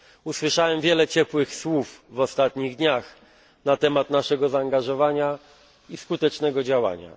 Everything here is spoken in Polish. Usłyszałem wiele ciepłych słów w ostatnich dniach na temat naszego zaangażowania i skutecznego działania.